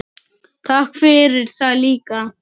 Takk fyrir það líka.